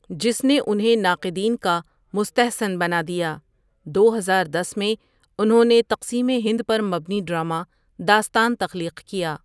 جس نے اُنہیں ناقدین کا مُستحسن بنا دیا دو ہزار دس میں اُنہوں نے تقسیمِ ہند پر مبنی ڈرما داستان تخلیق کیا ۔